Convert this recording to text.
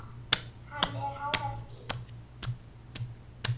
Hann er hávært dýr.